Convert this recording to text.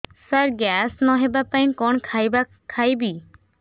ସାର gas ନ ହେବା ପାଇଁ କଣ ଖାଇବା ଖାଇବି